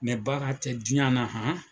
Mɛ baara tɛ diɲɛ na han!